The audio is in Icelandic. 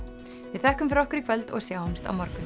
við þökkum fyrir okkur í kvöld og sjáumst á morgun